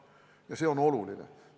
Ja see on oluline.